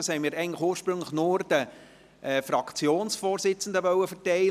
Ursprünglich wollten wir diesen nur den Fraktionsvorsitzenden verteilen.